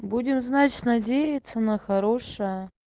будем знать надеяться на хорошее